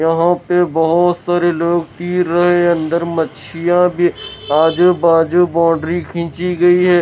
यहां पे बहोत सारे लोग पी रहे हैं अंदर मछलियां भी आजू बाजू बाउंड्री खींची गई है।